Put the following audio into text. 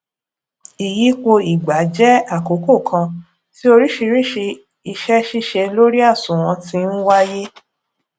iyípo ìgbà jẹ àkókò kan tí oríṣiríṣi ise sise lori àsùnwòn ti ń wáyé